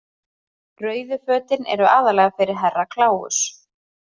Rauðu fötin eru aðallega fyrir Herra Kláus.